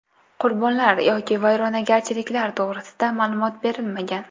Qurbonlar yoki vayronagarchiliklar to‘g‘risida ma’lumot berilmagan.